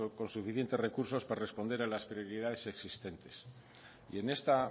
con suficiente recursos para responder a las prioridades existentes y en esta